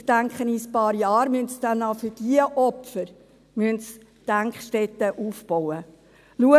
Ich denke, in ein paar Jahren werden Sie dann auch für diese Opfer Gedenkstätten aufbauen müssen.